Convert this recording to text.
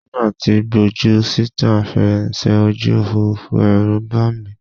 Nígbà tí gbójú síta fèrèsé ojú Òfurufú, Ẹ̀rù bà mí.